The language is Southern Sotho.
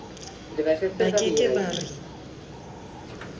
ba ke ke ba re